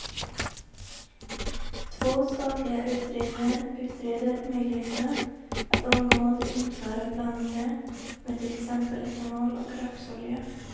Två statliga utredningar utreder möjligheterna att omgående införa blandningar med till exempel etanol och rapsolja.